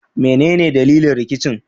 Menene dalilin rikicin?